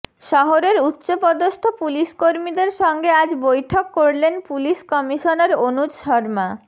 শহরের উচ্চপদস্থ পুলিশকর্মীদের সঙ্গে আজ বৈঠক করলেন পুলিশ কমিশনার অনুজ শর্মা